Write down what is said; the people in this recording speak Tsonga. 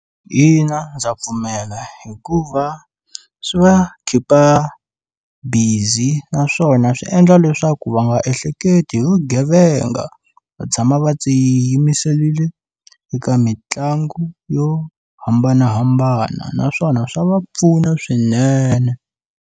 Ina ndza pfumela hikuva swi va khipha busy naswona swi endla leswaku va nga ehleketi hi vugevenga va tshama va tiyimiserile eka mitlangu yo hambanahambana naswona swa va pfuna swinene.